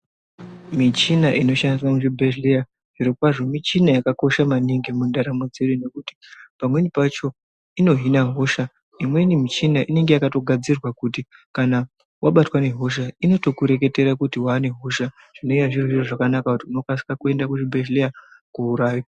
Michina inoshandiswa muzvibhedhleya zvirokwazvo michina yakakosha maningi mundaramo dzedu ngekuti pamweni pacho inohina hosha, imweni mishina inenge yakatogadzirirwa kuti kana wabatwa ngehosha inotokureketera kuti waane hosha zvinonga zviri zvozvakanaka kuti unokasire kuende kuchibhedhlera koo....